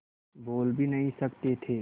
बोल भी नहीं सकते थे